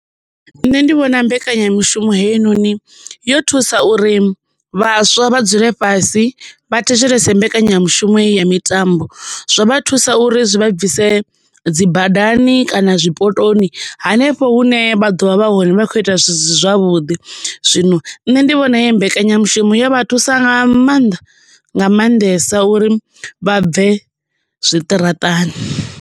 Nṋe ndi vhona mbekanyamishumo heinoni yo thusa uri vhaswa vha dzule fhasi vha thetshelese mbekanyamushumo heyi ya mitambo zwo vha thusa uri zwi vha bvise dzi badani kana zwipotoni hanefho hune vha ḓo vha vha hone vha kho ita zwi si zwavhuḓi, zwino nṋe ndi vhona uri mbekanyamushumo yo vha thusa nga maanḓa nga maanḓesa uri vha bve zwiṱaraṱani.